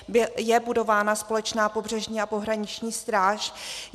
Je budována společná pobřežní a pohraniční stráž.